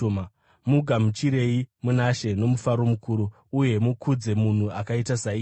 Mugamuchirei muna She nomufaro mukuru, uye mukudze munhu akaita saiyeye,